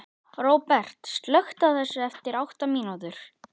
Róbert, slökktu á þessu eftir átta mínútur.